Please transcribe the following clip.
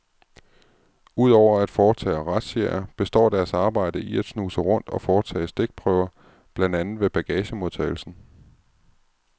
Udover at foretage razziaer består deres arbejde i at snuse rundt og foretage stikprøver, blandt andet ved bagagemodtagelsen.